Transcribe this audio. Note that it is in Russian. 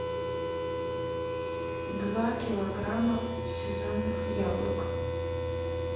два килограмма сезонных яблок